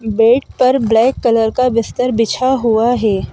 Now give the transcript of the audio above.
Bed पर black colour का बिस्तर बिछा हुआ है।